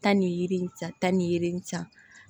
Taa ni yiri in san tan ni san